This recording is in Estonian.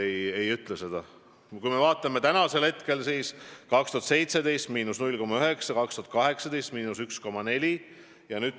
Vaatame hilisemaid aastaid: 2017. aasta näitaja oli –0,9%; 2018. aasta oma –1,4%.